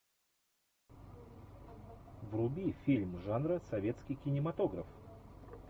вруби фильм жанра советский кинематограф